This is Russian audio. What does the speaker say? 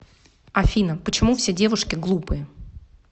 афина почему все девушки глупые